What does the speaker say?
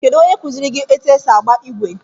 Kedụ onye kuziiri gị etụ esị agba igwe?